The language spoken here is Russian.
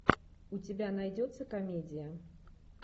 у тебя найдется комедия